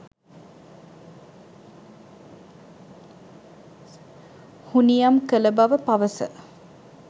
හුනියම් කළ බව පවස